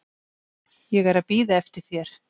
Ég er að bíða eftir þér.